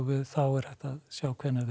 þá er hægt að sjá hvenær þeir